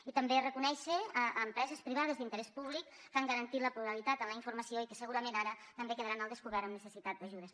i també reconèixer empreses privades d’interès públic que han garantit la pluralitat en la informació i que segurament ara també quedaran al descobert amb necessitat d’ajudes